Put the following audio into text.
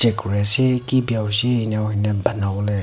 kori ase ki bia hoise eninka hoine bane bole--